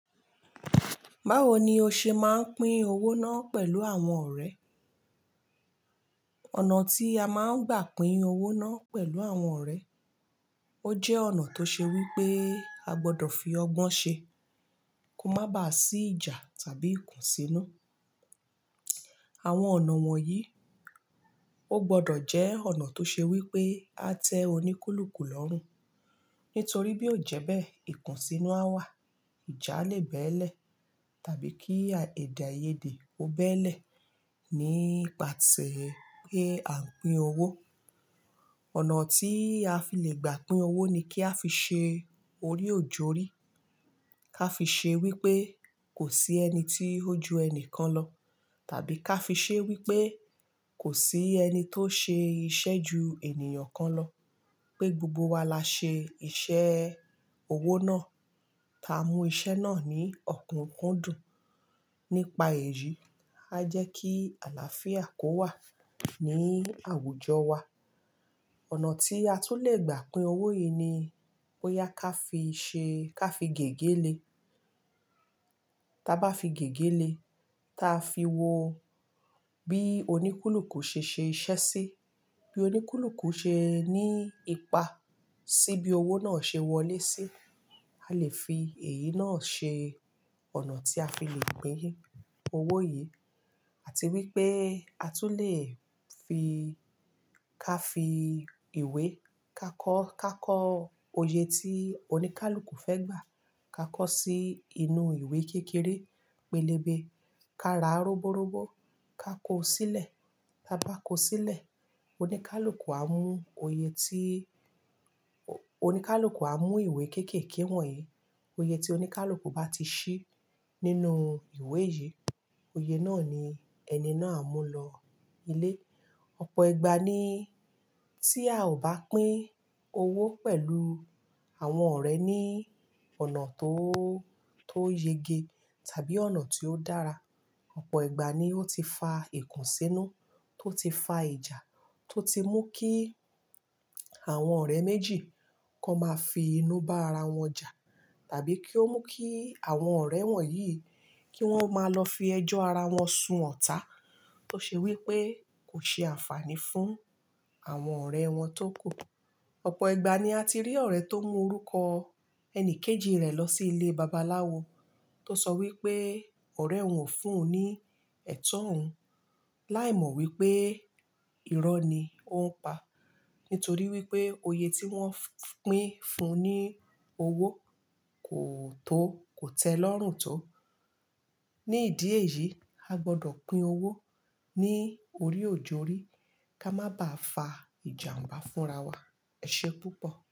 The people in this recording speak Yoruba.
Báwo ni o ṣe máa ń pín owó náà pẹ̀lú àwọn ọ̀rẹ́? Ọ̀nà tí a máa ń gbà pín owó náà pẹ̀lù àwọn ọ̀rẹ́, ó jẹ́ ọ̀nà tó ṣe wí pé a gbọdọ̀ fi ọgbọ́n ṣe, kó má ba à sí ìjà tàbí ìkùnsínú. Àwọn ọ̀nà wọ̀nyí, ó gbọdọ̀ jẹ́ ọ̀nà tó ṣe wí pé a tẹ oníkúlùkù lọ́rùn. Nítorí bí ò jẹ́ bẹ́ẹ̀, ìkùnsínú a wà, ìjà le bẹ́ẹ́lẹ̀ tàbí kí èdè-àiyedè ó bẹ́ẹ́lẹ̀ nípa ese pé à ń pín owó. Ọ̀nà tí a fi le gbà pín owó ni kí a fi ṣe orí òjórí, ká fi ṣe wí pé kò sí ẹni tí ó ju ẹni kan lọ tàbí ká fi ṣe wí pé kò sí ẹni tó ṣe iṣẹ́ ju ènìyàn kan lọ, pé gbogbo wa la ṣe iṣẹ́ owó náà, tá mú iṣẹ́ náà ní ọ̀kúnkúndùn. Nípa èyí, a jẹ́ kí àlàáfíà kó wà ní àwùjọ wa. Ọ̀nà tí a tún lè gbà pín owó yìí ni bóyá ká fi ṣe, ká fi gègé le. Taa bá fi gègé le, ta fi wọ bí oníkúlùkù ṣe ṣe iṣẹ́ sí, bí oníkúlùkù ṣe ní ipa sí bí owó náà ṣe wọlé sí, a lè fi èyí náà ṣe ọ̀nà tí a fi lè pín owó yìí. Àti wípé a tún lè fi ká fi ìwé kakọ́, kakọ́ oye tí oníkálùkù fẹ́ gbà, kakọ́ sí inú ìwé kékeré, pélébé, ka ra robórobo, ka kó sílẹ̀. Ta bá kó sílẹ̀, oníkálùkù a mú òye tí-- oníkálùkù a mú ìwé kéékèèké wọ̀nyí. Oye tí oníkálùkù bá ti ṣí nínú ìwé yìí, oyè náà ni ẹni náà a mú lọ ilé. Ọ̀pọ̀ ìgbà ni tí a ò bá pín owó pẹ̀lú àwọn ọ̀rẹ́ ní ọ̀nà tó, tó yege tàbí ọ̀nà tí ó dára, ọ̀pọ̀ ìgbà ni ó ti fa ìkùnsínú, tó ti fa ìjà, tó ti mú kí àwọn ọ̀rẹ́ méjì kan máa fi inú bá ara wọn jà, tàbí kí ó mú kí àwọn ọ̀rẹ́ wọ̀nyí kí wọ́n máa lọ fi ẹjọ́ ara wọn sun ọ̀tá, tó ṣe wí pé kò ṣe àǹfààní fún àwọn ọ̀rẹ́ wọn tó kù. Ọ̀pọ̀ ìgbà ni a ti rí ọ̀rẹ́ tó mú orúkọ ẹni kejì rẹ̀ lọ sí ilé babaláwo, tó sọ wí pé ọ̀rẹ́ wọn fún un ní ẹ̀tọ́ òun, láìmọ̀ wípé irọ́ ni ó ń pa. Nítorí wípé òye tí wọ́n pín fun ní owó kò tó, kò tẹ́ lọ́rùn tó. Ni ìdí èyí, a gbọdọ̀ pín owó ní orí òjórí, ká má ba à fa ìjàǹbá fúnra wa. Ẹ̀ṣé púpọ̀.